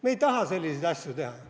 Me ei taha selliseid asju teha.